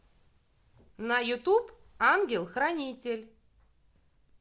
на ютуб ангел хранитель